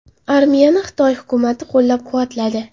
Armiyani Xitoy hukumati qo‘llab-quvvatladi.